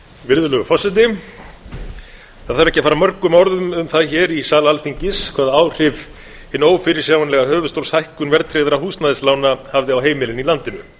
virðulegur forseti það þarf ekki að fara mörgum orðum um það hér í sal alþingis hvaða áhrif hin ófyrirsjáanlega höfuðstólshækkun verðtryggðra húsnæðislána hafði á heimilin í landinu